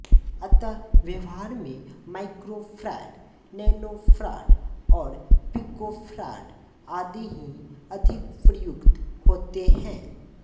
अतः व्यवहार में माइक्रोफैराड नैनोफैराड और पिकोफैराड आदि ही अधिक प्रयुक्त होते हैं